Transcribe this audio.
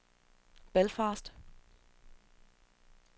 Belfast